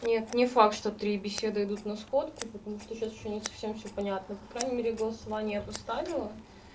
нет не факт что три беседы идут на сходку потому что сейчас ещё не совсем все понятно по крайней мере голосование я поставила